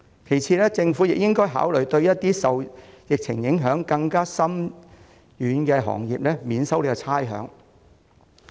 其次，政府亦應該考慮向一些受疫情影響更深遠的行業提供差餉寬免。